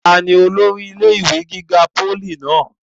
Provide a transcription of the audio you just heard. ta ni olórí ilé ìwé gíga pólì náà?